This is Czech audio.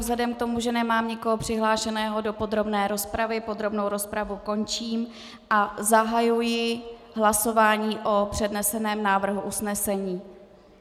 Vzhledem k tomu, že nemám nikoho přihlášeného do podrobné rozpravy, podrobnou rozpravu končím a zahajuji hlasování o předneseném návrhu usnesení.